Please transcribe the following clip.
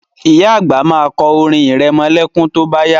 Ìyá àgbà ma kọ orin irẹmọlẹ́kún tó bá yá